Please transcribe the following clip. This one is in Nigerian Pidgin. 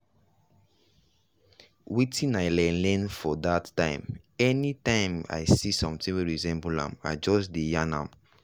wetin i learn learn for that time any time i see something wey resemble am i just dey yan am.